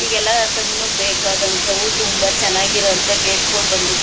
ಈಗೆಲ್ಲ ಕಣ್ಣುಗೆ ಬೇಕಾದಂತವು ತುಂಬಾ ಚೆನ್ನಾಗಿರೋ ಅಂತ ಗೇಟ್ ಗಳು ಬಂದಿರ್.